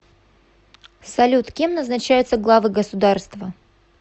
салют кем назначаются главы государства